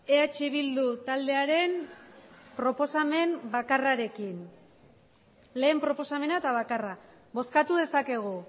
eh bildu taldearen proposamen bakarrarekin lehen proposamena eta bakarra bozkatu dezakegu